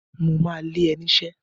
Mo ma lé ẹ niṣẹ́!